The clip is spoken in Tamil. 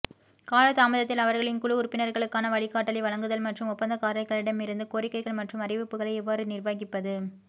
காலதாமதத்தில் அவர்களின் குழு உறுப்பினர்களுக்கான வழிகாட்டலை வழங்குதல் மற்றும் ஒப்பந்தக்காரர்களிடமிருந்து கோரிக்கைகள் மற்றும் அறிவிப்புகளை எவ்வாறு நிர்வகிப்பது